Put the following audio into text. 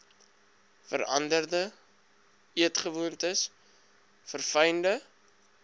veranderde eetgewoontes verfynde